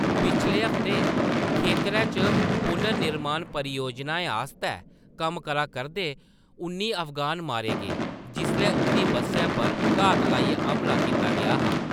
पिछले हफ्ते, खेतरै च पुनर्निर्माण परियोजनाएं आस्तै कम्म करा करदे उन्नी अफगान मारे गे, जिसलै उंʼदी बस्सै पर घात लाइयै हमला कीता गेआ हा।